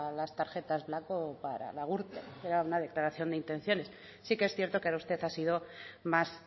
las tarjetas black o para la gürtel era una declaración de intenciones sí que es cierto que usted ha sido más